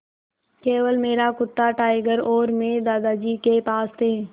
केवल मेरा कुत्ता टाइगर और मैं दादाजी के पास थे